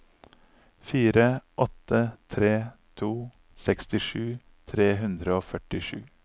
fire åtte tre to sekstisju tre hundre og førtisju